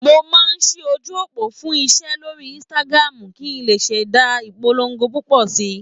Mo máa ṣí ojú òpó fún iṣẹ́ lórí Instagram kí n lè ṣẹ̀dá ìpolongo púpọ̀ síi.